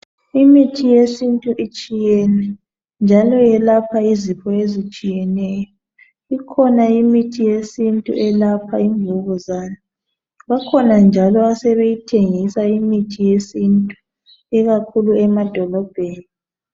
Imithi yesintu itshiyene njalo yelapha izifo ezitshiyeneyo. Ikhona imithi yesintu elapha imvukuzane. Bakhona njalo asebeyithengisa imithi yesintu ikakhulu emadolobheni.